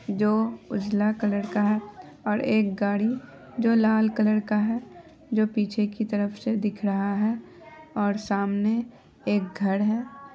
जो उजला कलर का है और एक गाड़ी जो लाल कलर का है जो पीछे की तरफ से दिख रहा है और एक सामने एक घर है।